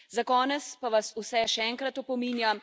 Za konec pa vas vse še enkrat opominjam.